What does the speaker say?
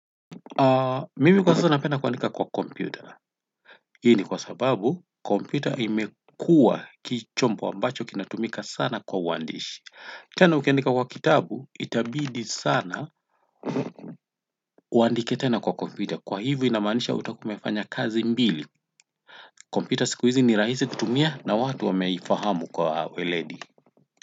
Mimi kwa sasa napenda kuandika kwa kompyuta. Hii ni kwa sababu kompyuta imekua chombo ambacho kinatumika sana kwa uandishi. Tena ukiandika kwa kitabu, itabidi sana uandike tena kwa kompyuta. Kwa hivi namaanisha utakua umefanya kazi mbili. Kompyuta siku hizi ni rahisi kutumia na watu wameifahamu kwa weledi.